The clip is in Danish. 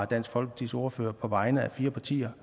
dansk folkepartis ordfører på vegne af fire partier